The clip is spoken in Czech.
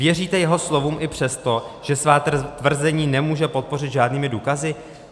Věříte jeho slovům i přesto, že svá tvrzení nemůže podpořit žádnými důkazy?